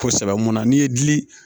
Kosɛbɛ mun na n'i ye dili